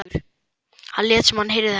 Hann lét sem hann heyrði ekki þetta síðasta.